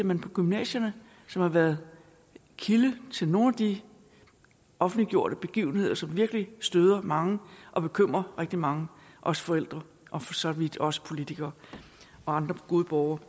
man på gymnasierne som har været kilde til nogle af de offentliggjorte begivenheder som virkelig støder mange og bekymrer rigtig mange også forældre og for så vidt også politikere og andre gode borgere